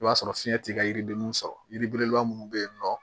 I b'a sɔrɔ fiɲɛ ti ka yiridenninw sɔrɔ yiri belebeleba minnu bɛ yen nɔ